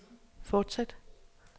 fortsæt